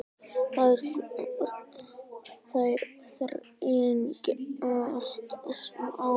Þær þrengjast smám saman og harðna.